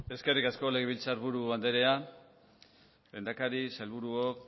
eskerrik asko legebiltzarburu andrea lehendakari sailburuok